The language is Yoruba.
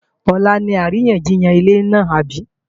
Ọ̀la ni àríyànjiyàn ilẹ̀ náà àbí?